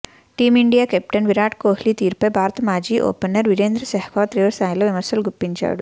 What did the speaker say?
team India captain Virat Kohli తీరుపై భారత మాజీ ఓపెనర్ వీరేంద్ర సెహ్వాగ్ తీవ్రస్థాయిలో విమర్శలు గుప్పించాడు